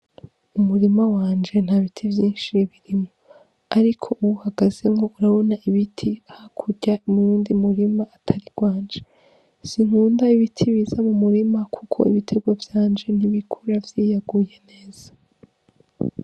Umurima wanje nta biti vyinshi birimo, ariko uwu uhagazenko urabona ibiti ha kurya imwundi murima atari rwanje sinkunda ibiti biza mu murima, kuko ibiterwa vyanje ntibikura vyiyaguye neza.